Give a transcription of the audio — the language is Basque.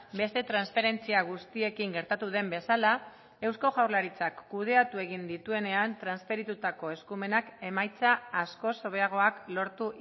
beste transferentzia guztiekin gertatu den bezala eusko jaurlaritzak kudeatu egin dituenean transferitutako eskumenak emaitza askoz hobeagoak lortu